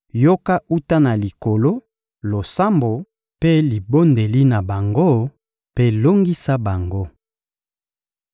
yoka wuta na Likolo losambo mpe libondeli na bango, mpe longisa bango.